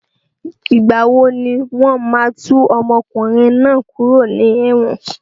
Ìgbà wo ni wọn máa tú ọmọkùnrin náà kúrò ní ẹ̀wọ̀n?